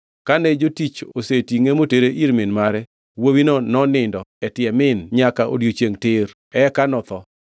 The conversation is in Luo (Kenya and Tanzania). Kane jotich osetingʼe motere ir min mare, wuowino nonindo e tie min nyaka odiechiengʼ tir, eka notho.